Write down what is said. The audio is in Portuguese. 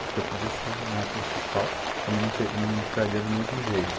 Porque eu podia ser um heterossexual, também não te não entraria do mesmo jeito.